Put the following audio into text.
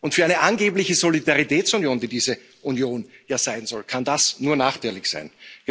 Für eine angebliche Solidaritätsunion die diese Union ja sein soll kann das nur nachteilig sein.